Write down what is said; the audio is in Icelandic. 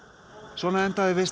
svona endaði vist